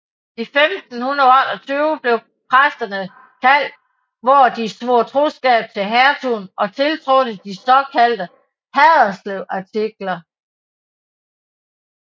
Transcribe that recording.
I 1528 blev præsterne kaldt hvor de svor trosskab til Hertugen og tiltrådte de såkaldte Haderslevartikler